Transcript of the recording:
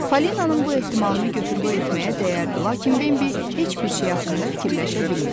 Falinanın bu ehtimalını götür-qoy etməyə dəyərdi, lakin Bembi heç bir şey haqqında fikirləşə bilmirdi.